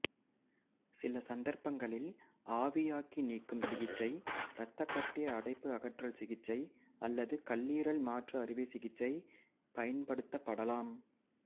சில சந்தர்ப்பங்களில் ஆவியாக்கி நீக்கும் சிகிச்சை இரத்தக்கட்டி அடைப்பு அகற்றல் சிகிச்சை அல்லது கல்லீரல் மாற்று அறுவை சிகிச்சை பயன்படுத்தப்படலாம்